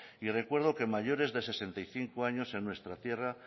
y recuerdo que mayores de sesenta y cinco años en nuestra tierra